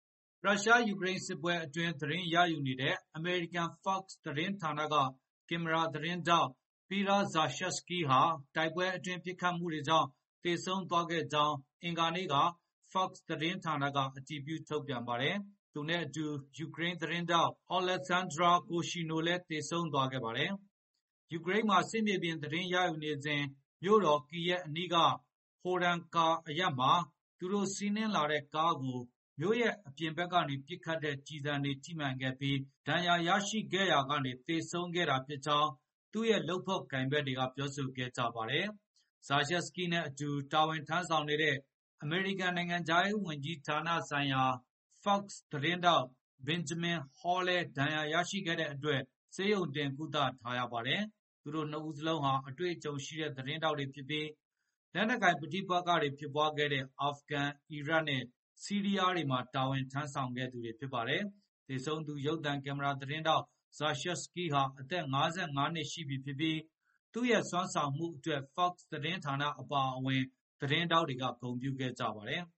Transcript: ရုရှား-ယူကရိန်း စစ်ပွဲအတွင်း သတင်းရယူနေတဲ့ အမေရိကန် FOX သတင်းဌာနက ကင်မရာသမား Pierre Zakrzewski ဟာ တိုက်ပွဲအတွင်း ပစ်ခတ်မှုတွေကြောင့် သေဆုံးသွားခဲ့ကြောင်း အင်္ဂါနေ့မှာ FOX သတင်းဌာနက အတည်ပြု ထုတ်ပြန်ပါတယ်။ သူနဲ့ အတူ ယူကရိန်း သတင်းထောက် Olesksandra Kuvshyanova လည်း သေဆုံးသွားခဲ့ပါတယ်။ ယူကရိန်းမှာ စစ်မြေပြင် သတင်းရယူနေစဉ် မြို့တော် Kyiv အနီးက Horenka အရပ်မှာ သူတု့ိစီးနင်းလာတဲ့ကားကို မြို့ရဲ့ အပြင်ဘက် ကနေ ပစ်ခတ်တဲ့ ကျည်ဆံတွေ ထိမှန်ခဲ့ပြီး ဒဏ်ရာ ရရှိခဲ့ရာကနေ သေဆုံးခဲ့တာ ဖြစ်ကြောင်း သူ့ရဲ့ လုပ်ဖေါ်ကိုင်ဖက်တွေက ပြောဆိုခဲ့ကြပါတယ်။ Zakrzewski နဲ့ အတူ တာဝန်ထမ်းဆောင်နေတဲ့ အမေရိကန် နိုင်ငံခြားရေးဝန်ကြီးဌာနဆိုင်ရာ FOX သတင်းထောက် Benjamin Hall လည်း ဒဏ်ရာရခဲ့တဲ့အတွက် ဆေးရုံတင် ကုသထားရပါတယ်။ သူတို့ ၂ ဦးစလုံးဟာ အတွေ့အကြုံရှိတဲ့ သတင်းထောက်တွေ ဖြစ်ပြီး လက်နက်ကိုင် ပဋိပက္ခတွေ ဖြစ်ပွားခဲ့တဲ့ အာဖဂန်၊ အီရတ်နဲ့ ဆီးရီးယားတွေမှာ တာဝန်ထမ်းဆောင်ခဲ့သူတွေ ဖြစ်ပါတယ်။ သေဆုံးသူ ရုပ်သံကင်မရာ သတင်းထောက် Zakrzewski ဟာ အသက် ၅၅ နှစ်ရှိပြီဖြစ်ပြီး သူ့ရဲ့ စွမ်းဆောင်မှု အတွက် FOX သတင်းဌာနနဲ့ လုပ်ဖော်ကိုင်ဖက် သတင်း ထောက်တွေက ဂုဏ်ပြုခဲ့ ကြပါတယ်။